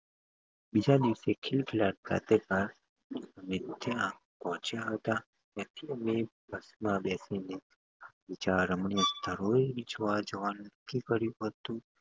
બીજા દિવસે અમે પહોચ્યા હતા. ત્યાંથી અમે bus માં બેસીને બીજા રમણીય સ્થળો જોવા જવાનું નક્કી કર્યું હતું.